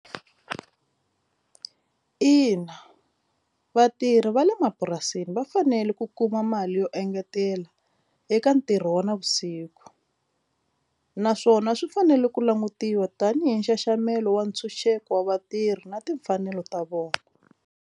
Ina, vatirhi va le mapurasini va fanele ku kuma mali yo engetela eka ntirho wa navusiku naswona swi fanele ku langutiwa tanihi nxaxamelo wa ntshunxeko wa vatirhi na timfanelo ta vona.